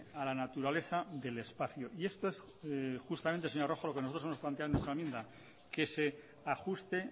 a la naturaleza del espacio y esto es justamente señora rojo lo que nosotros hemos planteado en nuestra enmienda que se ajuste